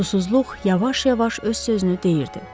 Susuzluq yavaş-yavaş öz sözünü deyirdi.